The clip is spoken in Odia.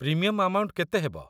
ପ୍ରିମିୟମ୍‌ ଆମାଉଣ୍ଟ କେତେ ହେବ?